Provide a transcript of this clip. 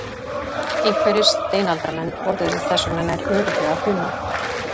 Einhverjir steinaldarmenn borðuðu þess vegna nær örugglega hunang.